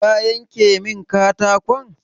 Ka yanka min katakon?